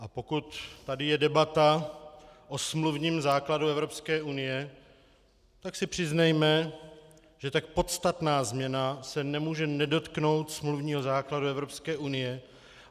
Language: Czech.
A pokud tady je debata o smluvním základu Evropské unie, tak si přiznejme, že tak podstatná změna se nemůže nedotknout smluvního základu Evropské unie.